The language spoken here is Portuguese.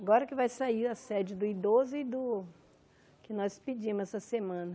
Agora que vai sair a sede do idoso e do... que nós pedimos essa semana.